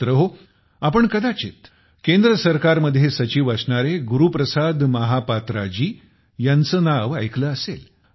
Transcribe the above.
मित्रहो आपण कदाचित केंद्र सरकार मध्ये सचिव असणारे गुरु प्रसाद महापात्रा जी यांचे नाव ऐकले असेल